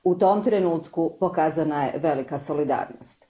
U tom trenutku pokazana je velika solidarnost.